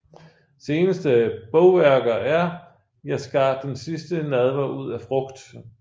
Seneste bogværker er Jeg skar Den Sidste Nadver ud af frugt